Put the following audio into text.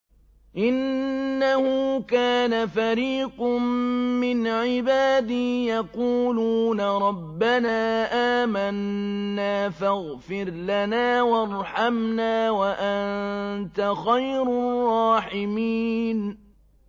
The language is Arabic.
إِنَّهُ كَانَ فَرِيقٌ مِّنْ عِبَادِي يَقُولُونَ رَبَّنَا آمَنَّا فَاغْفِرْ لَنَا وَارْحَمْنَا وَأَنتَ خَيْرُ الرَّاحِمِينَ